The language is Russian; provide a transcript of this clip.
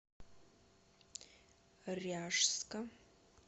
ряжска